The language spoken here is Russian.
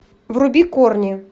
вруби корни